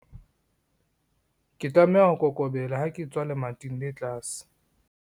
Ke tlameha ho kokobela ha ke etswa lemating le tlase.